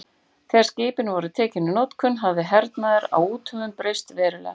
Þegar skipin voru tekin í notkun hafði hernaður á úthöfum breyst verulega.